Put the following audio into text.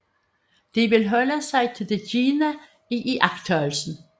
De vil holde sig til det givne i iagttagelsen